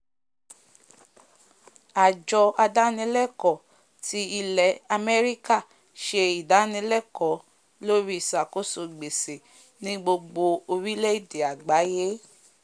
àjọ adánilẹ̀kọ́ ti ilẹ̀ àméríkà se ìdánilákọ̀ lóri ìsàkóso gbèsè ní gbogbo orílẹ̀ èdè àgbáyé